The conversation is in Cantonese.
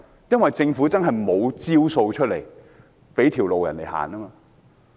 因為政府確實沒有方案給他們一條生路。